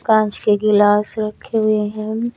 कांच के गिलास रखे हुए हैं।